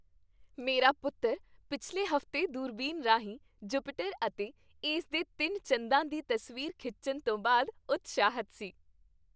ਮੇਰਾ ਪੁੱਤਰ ਪਿਛਲੇ ਹਫ਼ਤੇ ਦੂਰਬੀਨ ਰਾਹੀਂ ਜੁਪੀਟਰ ਅਤੇ ਇਸ ਦੇ ਤਿੰਨ ਚੰਦਾਂ ਦੀ ਤਸਵੀਰ ਖਿੱਚਣ ਤੋਂ ਬਾਅਦ ਉਤਸ਼ਾਹਿਤ ਸੀ।